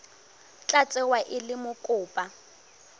tla tsewa e le mokopa